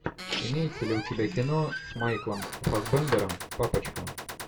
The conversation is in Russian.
имеется ли у тебя кино с майклом фассбендером папочка